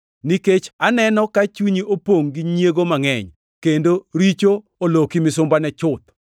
Nikech aneno ka chunyi opongʼ gi nyiego mangʼeny, kendo richo oloki misumbane chuth.”